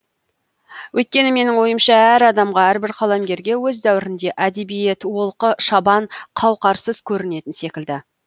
өйткені менің ойымша әр адамға әрбір қаламгерге өз дәуірінде әдебиет олқы шабан қауқарсыз көрінетін секілді